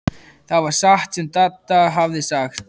Það var satt sem Dadda hafði sagt.